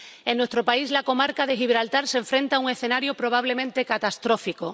En nuestro país, la comarca de Gibraltar se enfrenta a un escenario probablemente catastrófico.